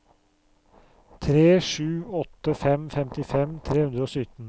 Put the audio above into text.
tre sju åtte fem femtifem tre hundre og sytten